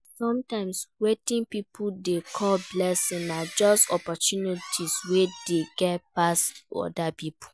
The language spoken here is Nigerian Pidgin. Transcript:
Sometimes wetin pipo dey call blessing na just opportunity wey dem get pass oda pipo